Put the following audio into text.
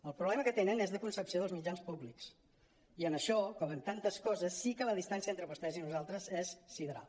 el proble·ma que tenen és de concepció dels mitjans públics i en això com en tantes coses sí que la distància entre vostès i nosaltres és sideral